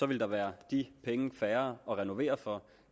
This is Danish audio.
ville der være de penge færre at renovere for